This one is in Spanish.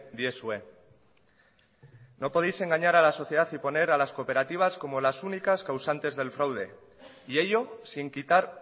diezue no podéis engañar a la sociedad y poner a las cooperativas como las únicas causantes del fraude y ello sin quitar